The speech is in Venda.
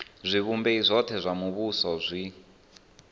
zwivhumbeo zwothe zwa muvhuso zwi